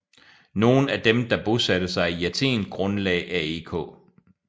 Nogle af dem der bosatte sig i Athen grundlagde AEK